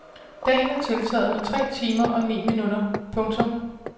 Dagen er tiltaget med tre timer og ni minutter. punktum